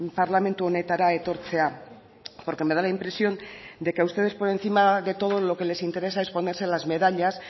parlamentu honetara etortzea porque me da la impresión de que a ustedes por encima de todo lo que les interesa es ponerse las medallas